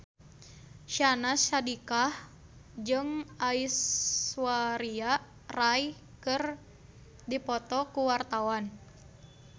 Syahnaz Sadiqah jeung Aishwarya Rai keur dipoto ku wartawan